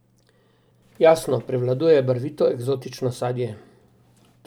Jasno, prevladuje barvito eksotično sadje.